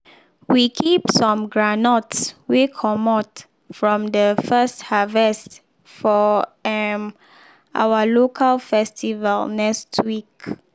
we keep some groundnuts wey comot from de first harvest for um our local festival next week.